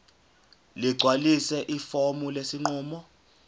ligcwalise ifomu lesinqumo